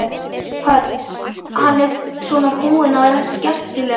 Hödd: Hvað er svona búið að vera skemmtilegt?